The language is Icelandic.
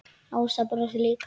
Ása brosir líka.